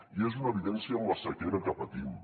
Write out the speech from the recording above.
i és una evidència amb la sequera que patim